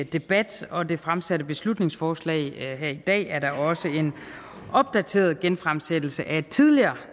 debat og det fremsatte beslutningsforslag her i dag er da også en opdateret genfremsættelse af et tidligere